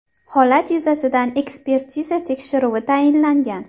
Holat yuzasidan ekspertiza tekshiruvi tayinlangan.